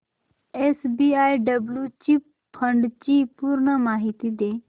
SBI blue chip fund ची पूर्ण माहिती दे